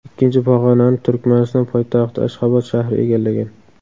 Ikkinchi pog‘onani Turkmaniston poytaxti Ashxobod shahri egallagan.